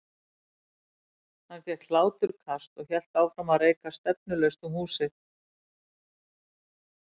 Hann fékk hláturkast og hélt áfram að reika stefnulaust um húsið.